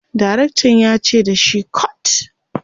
direktan yace da shi"cut!"